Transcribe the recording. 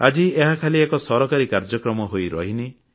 ଆଜି ଏହା ଖାଲି ଏକ ସରକାରୀ କାର୍ଯ୍ୟକ୍ରମ ହୋଇ ରହିନି